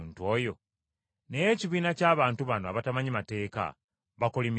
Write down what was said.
Naye ekibiina ky’abantu bano abatamanyi mateeka, bakolimiddwa!”